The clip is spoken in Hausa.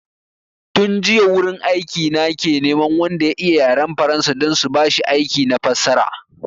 Tun jiya wurin aiki na ke neman wanda ya iya yaran faransa don su bashi aiki na fassara